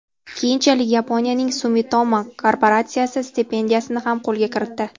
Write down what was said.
Keyinchalik Yaponiyaning Sumitomo korporatsiyasi stipendiyasini ham qo‘lga kiritdi.